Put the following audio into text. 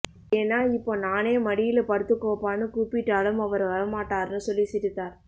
ஏன்னா இப்போ நானே மடியில படுத்துக்கோப்பான்னு கூப்பிட்டாலும் அவர் வர மாட்டார்னு சொல்லி சிரித்தார்